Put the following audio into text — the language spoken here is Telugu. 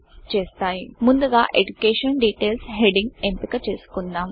ముందుగా ఎడ్యుకేషన్ DETAILSఎజుకేషన్ డీటేల్స్ హెడ్డింగ్ ఎంపిక చేసుకుందాం